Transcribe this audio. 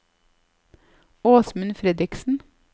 Åsmund Fredriksen